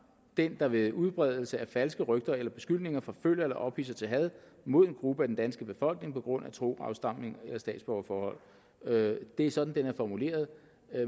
den der ved udbredelse af falske rygter eller beskyldninger forfølger eller ophidser til had mod en gruppe af den danske befolkning på grund af tro afstamning eller statsborgerforhold det er sådan det er formuleret